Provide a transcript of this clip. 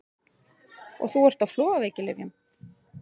Og þú ert á flogaveikilyfjum!